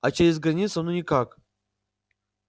а через границу ну никак